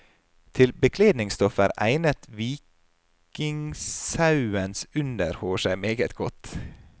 Til bekledingsstoffer egnet vikingsauens underhår seg meget godt.